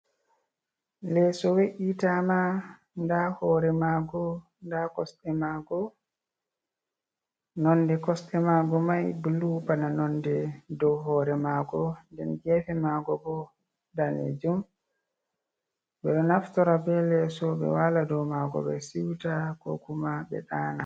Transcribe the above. Lesso we’ita ma nda hore mago, nda kosɗe mago, nonde kosɗe mago mai blu, bana nonde dow hore mago, den gefe mago bo danejum, ɓe ɗo naftora be lesso ɓe wala dou mago, ɓe siwta, kokuma ɓe ɗana.